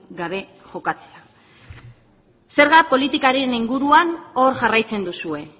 gabe jokatzea zerga politikaren inguruan hor jarraitzen duzue